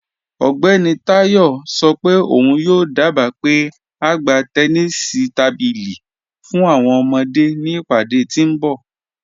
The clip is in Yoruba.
Ọgbẹni Tayọ sọ pe ọun yoo dába pe a gbà tẹ̀nìṣí tábílí fún awọn ọmọde ni ìpadé tí nbọ̀.